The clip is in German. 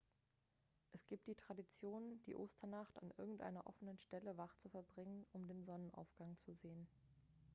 es gibt die tradition die osternacht an irgendeiner offenen stelle wach zu verbringen um den sonnenaufgang zu sehen